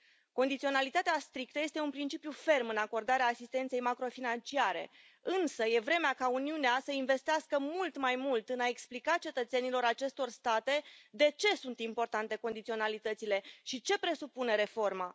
Condiționalitatea strictă este un principiu ferm în acordarea asistenței macro financiare, însă e vremea ca Uniunea să investească mult mai mult în a explica cetățenilor acestor state de ce sunt importante condiționalitățile și ce presupune reforma.